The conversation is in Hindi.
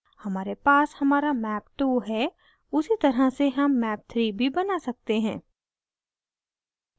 हमारे पास हमारा map 2 है उसी तरह से हम map 3 भी बना सकते हैं